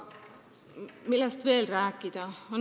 Millest veel tuleks rääkida?